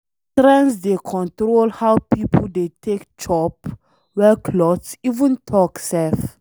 Trends dey control how people dey take chop, wear cloth even talk sef.